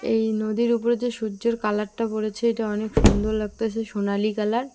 এই নদীর ওপরে যে সূর্যের কালারটা পড়েছে এটা অনেক সুন্দর লাগতাসে সোনালি কালার ।